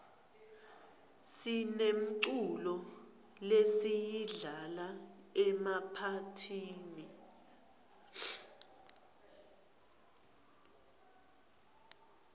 sinemculo lesiyidlala emaphathini